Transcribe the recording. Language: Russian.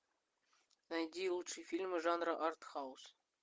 найди лучшие фильмы жанра артхаус